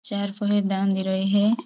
चार पोरी ह दांगी रई है।